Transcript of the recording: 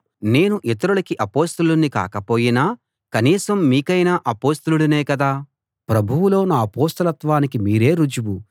నేను ఇతరులకి అపొస్తలుణ్ణి కాకపోయినా కనీసం మీకైనా అపొస్తలుడినే కదా ప్రభువులో నా అపొస్తలత్వానికి మీరే రుజువు